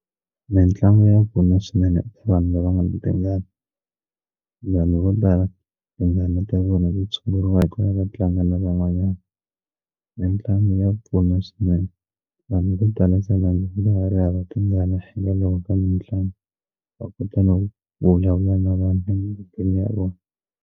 Mintlangu ya pfuna swinene vanhu la va ngana tingana vo tala vona ti tshunguriwa hi ku va va tlanga na van'wanyana mitlangu ya pfuna swinene vanhu vo tala se nga ri hava tingana hikwalaho ka mitlangu va kota no vulavula na vanhu emugangeni ya vona.